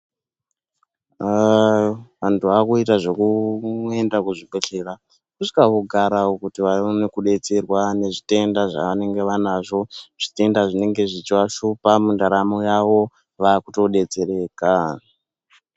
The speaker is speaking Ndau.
Vantu vakuita zvekuenda kuzvibhedhlera vosvika vogarawo kuti vaone kudetserwa nezvitenda zvavanenge vanazvo. Zvitenda zvinenge zvichivashupa muntaramo yavo vakutodetsereka.